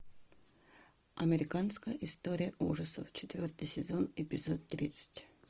американская история ужасов четвертый сезон эпизод тридцать